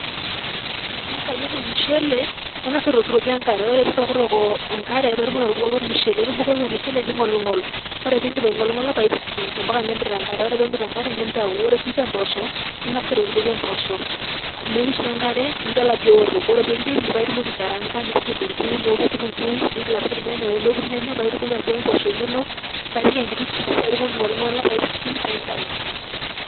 Ing'asa ayier ormushele, ing'asa aitokitokie enkare, ore pee itokitok enkare paake itumoki atubukoki ormushele. Ore pee ibukoki ormushele nig'oling'ol, ore piindip aing'oling'ola pae ipising' mpaka nemit enkare ore pee emit enkare nintau. Ore siinje mboosho, ning'as aitoktokie mboosho o meishu enkare nidol ajo eoto. Ore piindip pae itumoki aikaraang'a nipik kitung'uu, neoku kitung'uu ning'il apik irnyanyak, neoku irnyanyak paake itumoki atubukoki imboosho inonok paake ipik enkiti supu paake itumoki aing'oling'ola pae ipising' pae intau.